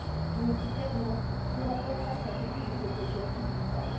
Je le dis clairement, ce rapport passe à côté de cet objectif vital.